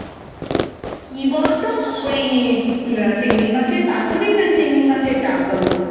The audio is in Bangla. কি বলতো ওই আহ চিংড়ি মাছের পাতুরি না চিংড়ি মাছের ডাকবাংলো?